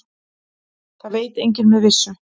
Það veit enginn með vissu.